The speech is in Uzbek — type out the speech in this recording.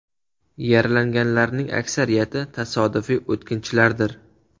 Yaralanganlarning aksariyati tasodifiy o‘tkinchilardir.